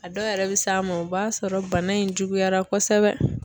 A dɔw yɛrɛ bɛ s'a ma o b'a sɔrɔ bana in juguyara kosɛbɛ.